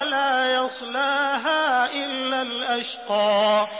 لَا يَصْلَاهَا إِلَّا الْأَشْقَى